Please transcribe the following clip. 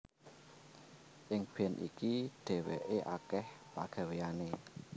Ing band iki dhéwéké akèh pagawéyané